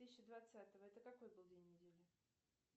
тысячи двадцатого это какой был день недели